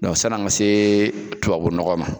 sann'an ka se tubabu nɔgɔ ma